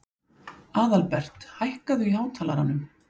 Aðalbert, hækkaðu í hátalaranum.